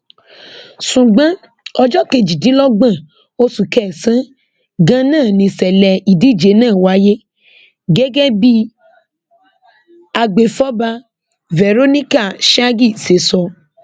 ṣùgbọn ọjọ kejìdínlọgbọn oṣù kẹsànán ganan nìṣẹlẹ ìdíje náà wáyé gẹgẹ bí agbèfọba verónica shaagee ṣe sọ